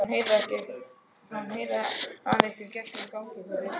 Hann heyrði að einhver gekk um ganginn fyrir utan.